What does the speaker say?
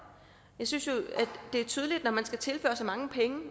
synes jo det er tydeligt at når man skal tilføre så mange penge